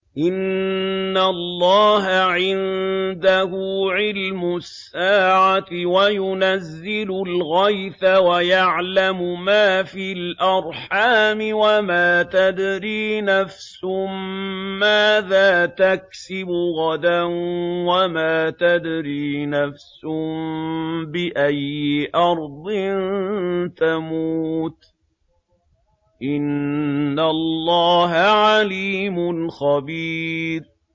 إِنَّ اللَّهَ عِندَهُ عِلْمُ السَّاعَةِ وَيُنَزِّلُ الْغَيْثَ وَيَعْلَمُ مَا فِي الْأَرْحَامِ ۖ وَمَا تَدْرِي نَفْسٌ مَّاذَا تَكْسِبُ غَدًا ۖ وَمَا تَدْرِي نَفْسٌ بِأَيِّ أَرْضٍ تَمُوتُ ۚ إِنَّ اللَّهَ عَلِيمٌ خَبِيرٌ